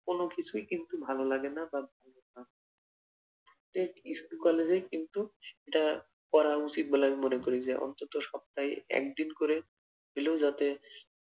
কোন কিছুই কিন্তু ভালো লাগে না বা প্রত্যেক স্কুল কলেজে কিন্তু একটা করা উচিত বলে আমি মনে করি যে অন্তত সপ্তাহে একদিন করে হলেও যাতে